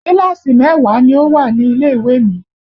Kíláàsì mẹ́wàá ló wà ní ilé ìwé mi